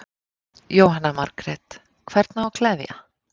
Jóhanna Margrét: Hvern á að gleðja?